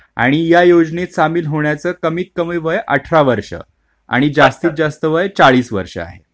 आणि या योजनेत सामील होण्याचं कमीत कमी वय अठरा वर्षे आणि जास्तीत जास्त वय चाळीस वर्षे आहे.